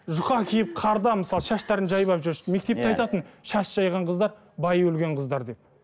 жұқа киіп қарда мысалы шаштарын жайып алып жүр мектепте айтатын шаш жайған қыздар байы өлген қыздар деп